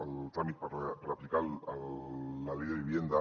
el tràmit per aplicar la ley de vivienda